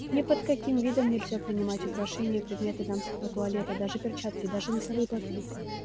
ни под каким видом нельзя принимать украшения и предметы дамского туалета даже перчатки даже носовые платки